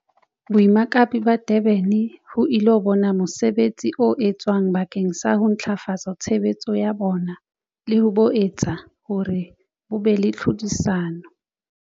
Boemakepe ba Durban ho ilo bona mosebetsi o etswang bakeng sa ho ntlafatsa tshebetso ya bona le ho bo etsa hore bo be le tlhodisano.